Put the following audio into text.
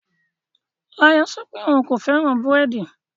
Layo sọ pé òun kò fẹ́ràn búrẹ́dì